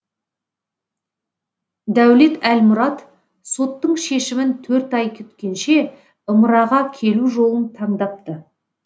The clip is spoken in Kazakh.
дәулет әлмұрат соттың шешімін төрт ай күткенше ымыраға келу жолын таңдапты